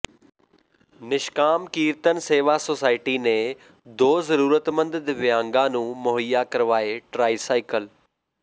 ਨਿਸ਼ਕਾਮ Kirtan Seva society ਨੇ ਦੋ ਜ਼ਰੂਰਤਮੰਦ ਦਿਵਿਆਂਗਾਂ ਨੂੰ ਮੁਹੱਈਆ ਕਰਵਾਏ ਟਰਾਈਸਾਇਕਲ